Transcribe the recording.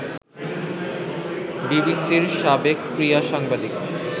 বিবিসির সাবেক ক্রীড়া সাংবাদিক